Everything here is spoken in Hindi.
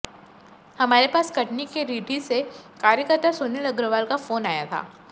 हमारे पास कटनी के रीठी से कार्यकर्ता सुनील अग्रवाल का फोन आया था